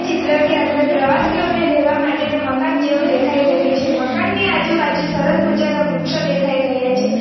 ચિત્ર ની અંદર પ્રવાસીઓને રહેવા માટેના મકાન જેવું દેખાઈ રહ્યું છે મકાનની આજુબાજુ સરસ મજાના વૃક્ષો દેખાઈ રહ્યા છે .